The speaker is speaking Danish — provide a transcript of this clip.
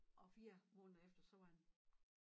Og 4 måneder efter så var han